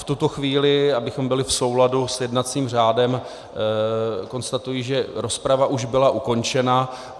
V tuto chvíli, abychom byli v souladu s jednacím řádem, konstatuji, že rozprava už byla ukončena.